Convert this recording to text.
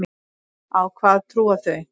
Á hvað trúa þau?